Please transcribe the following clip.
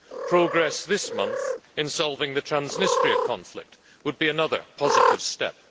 Progress this month in solving the Transnistria conflict would be another positive step.